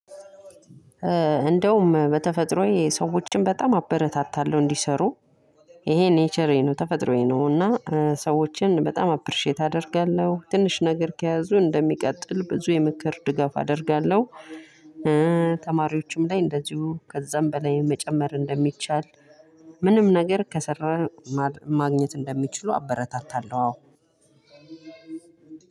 እንደውም በተፈጥሮዬ ሰዎችን በጣም አበረታታለሁ እንዲሰሩ። ይሄ ኔቸሬ ነው ተፈጥሮዬ ነው። እና ሰዎችን በጣም አፕሪሼት አደርጋለሁ ትንሽ ነገር ከያዙ እንደሚቀጥል ብዙ የምክር ድጋፍ አደርጋለሁ። ተማሪዎችም ላይ እንደዚሁ ከዛም በላይ መጨመር እንደሚቻል። ምንም ነገር ከሰራን ማግኘት እንደሚችሉ አበረታታለሁ አዎ።